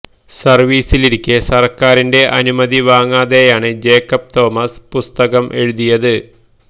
സർവീസിലിരിക്കെ സർക്കാരിന്റെ അനുമതി വാങ്ങാതെയാണ് ജേക്കബ് തോമസ് പുസ്തകം എഴുതിയത്